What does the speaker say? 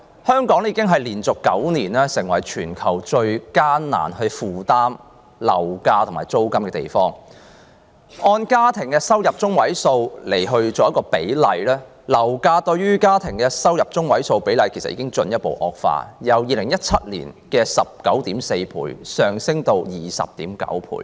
香港已經連續9年成為全球最難負擔樓價和租金的城市，按家庭入息中位數計算，樓價對家庭入息中位數比率已進一步惡化，由2017年的 19.4 倍上升至 20.9 倍。